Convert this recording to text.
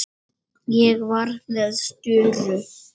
Ég var með störu.